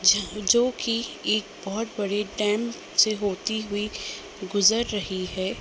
ज जो की ई बहुत बड़े डैम से होती हुई गुजर रही है।